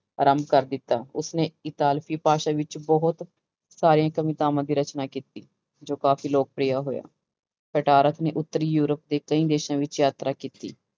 ਆਰੰਭ ਕਰ ਦਿੱਤਾ, ਉਸਨੇ ਇਕਾਲਪੀ ਭਾਸ਼ਾ ਵਿੱਚ ਬਹੁਤ ਸਾਰੀਆਂ ਕਵਿਤਾਵਾਂ ਦੀ ਰਚਨਾ ਕੀਤੀ, ਜੋ ਕਾਫ਼ੀ ਲੋਕਪ੍ਰਿਯ ਹੋਇਆ, ਪਟਾਰਸ ਨੇ ਉੱਤਰੀ ਯੂਰਪ ਦੇ ਕਈ ਦੇਸਾਂ ਵਿੱਚ ਯਾਤਰਾ ਕੀਤੀ।